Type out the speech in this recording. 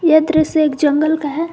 यह दृश्य एक जंगल का है।